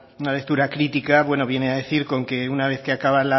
una lectura crítica bueno viene a decir con que una vez que acaba